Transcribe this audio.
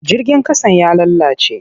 Jirgin ƙasan ya lalace.